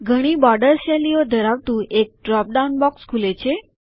ઘણી બોર્ડર શૈલીઓ ધરાવતું એક ડ્રોપ ડાઉન બોક્સ ખુલે છે